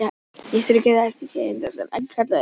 Lífsferill hennar hefst í eggi sem kallað er nit.